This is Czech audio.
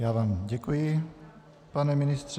Já vám děkuji, pane ministře.